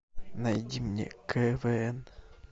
найди мне квн